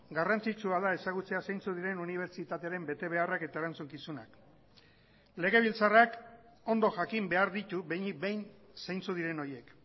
garrantzitsua da ezagutzea zeintzuk diren unibertsitatearen betebeharrak eta erantzukizunak legebiltzarrak ondo jakin behar ditu behinik behin zeintzuk diren horiek